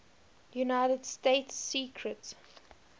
united states secret